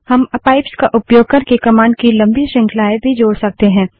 हम पाइप्स का उपयोग करके कमांड की लम्बी श्रृंखलाएँ भी जोड़ सकते हैं